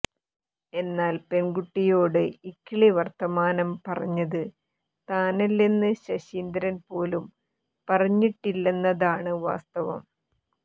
എന്നാൽ പെൺകുട്ടിയോട് ഇക്കിളി വർത്തമാനം പറഞ്ഞത് താനല്ലെന്ന് ശശീന്ദ്രൻ പോലും പറഞ്ഞിട്ടില്ലെന്നതാണ് വാസ്തവം